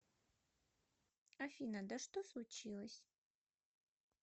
афина да что случилось